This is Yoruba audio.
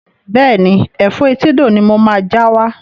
Bẹ́ẹ̀ni, Ẹ̀fọ́ etídò ni mo máa já wá.